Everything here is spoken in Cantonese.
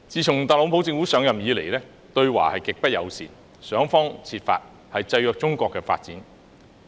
自特朗普政府上任以來，對華極不友善，想方設法制約中國的發展。